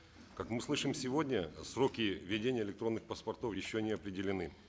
как мы слышим сегодня сроки введения электронных паспортов еще не определены